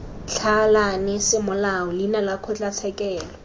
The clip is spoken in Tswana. tlhalane semolao leina la kgotlatshekelo